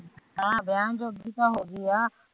ਹਮ ਵਿਆਹਨ ਜੋਗੀ ਤਾ ਹੋਗੀ ਆ